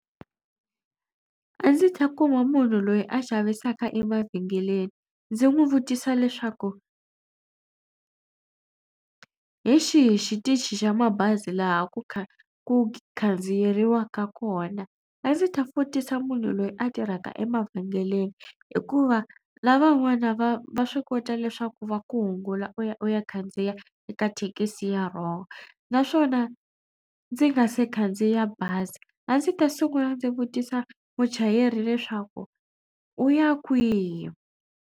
A ndzi ta kuma munhu loyi a xavisaka emavhengeleni ndzi n'wi vutisa leswaku hi xihi xitichi xa mabazi laha ku ku khandziyeriwaka kona. A ndzi ta vutisa munhu loyi a tirhaka emavhengeleni hikuva lavan'wana va va swi kota leswaku va ku hungula u ya u ya khandziya eka thekisi ya wrong naswona ndzi nga se khandziya bazi a ndzi ta sungula ndzi vutisa muchayeri leswaku u ya kwihi.